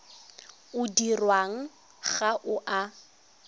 o dirwang ga o a